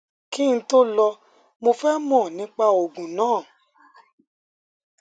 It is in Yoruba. kí n tó lò ó mo fẹ mọ nípa òògùn náà